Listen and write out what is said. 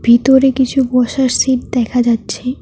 ভিতরে কিছু বসার সিট দেখা যাচ্ছে।